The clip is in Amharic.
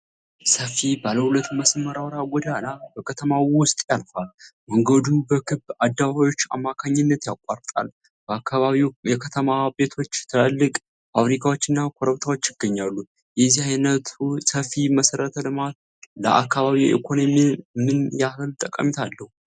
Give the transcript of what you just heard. ሰፊ ባለሁለት መስመር አውራ ጎዳና በከተማው ውስጥ ያልፋል። መንገዱን በክብ አደባባዮች አማካኝነት ያቋርጣል። በአካባቢው የከተማ ቤቶች፣ ትላልቅ ፋብሪካዎችና ኮረብታዎች ይገኛሉ። የዚህ ዓይነቱ ሰፊ መሠረተ ልማት ለአካባቢው ኢኮኖሚ ምን ያህል ጠቀሜታ አለው?